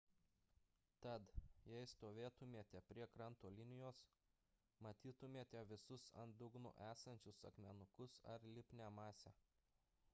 tad jei stovėtumėte prie kranto linijos matytumėte visus ant dugno esančius akmenukus ar lipnią masę